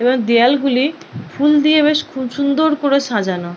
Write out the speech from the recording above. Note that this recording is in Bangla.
দেওয়াল গুলি ফুল দিয়ে বেশ খুব সুন্দর করে সাজানো--